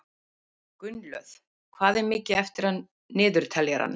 Gunnlöð, hvað er mikið eftir af niðurteljaranum?